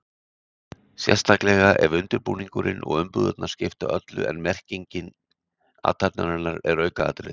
Sérstaklega ef undirbúningurinn og umbúðirnar skipta öllu en merking athafnarinnar er aukaatriði.